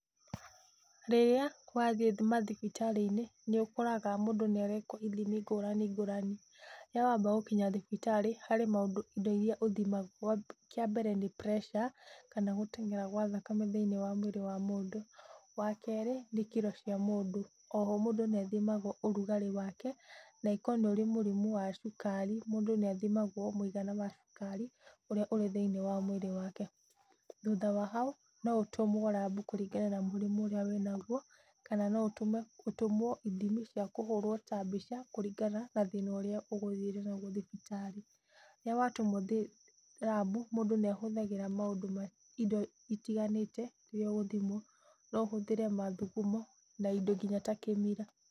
Rĩrĩa wathiĩ mathibitarĩ-inĩ, nĩ ũkoraga mũndũ nĩ arekwo ithimi ngũrani ngũrani. Rĩrĩa wamba gũkinya thibitarĩ harĩ maũndũ, indo iria ũthimagwo. Kĩambere nĩ pressure, kana gũteng'era gwa thakame mwĩrĩ wa mũndũ. Wakerĩ, nĩ kĩro cia mũndũ. Mũndũ nĩ athimagwo rugarĩ wa mwĩrĩ wake nangĩkorwo nĩ ũkoragwo na mũrimũ wa cukari, mũndũ nĩ athimagwo mũigana wa cukari, ũrĩa wĩ thĩiniĩ wa mwĩrĩ wake. Thũtha wa hau, mũndũ no atũmwo lab, kũringana na mũrimũ ũrĩa wĩnaguo. Na no ũtũmwo ithimi ta cia mbica kũringana na thĩna ũrĩa ũgũthiĩte naguo thibitarĩ. Rĩrĩa watũmwo lab, mũndũ nĩ ahũthagĩra maũndũ, indo citiganĩte iria ũgũthĩmwo. No ũhũthĩre mathugumo, na indo nginya ta kĩmira.